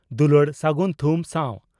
ᱫᱩᱞᱟᱹᱲ ᱥᱟᱹᱜᱩᱱ ᱛᱷᱩᱢ ᱥᱟᱣ